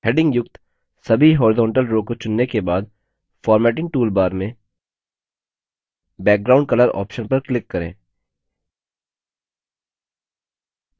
headings युक्त सभी horizontal row को चुनने के बाद formatting toolbar में background color option पर click करें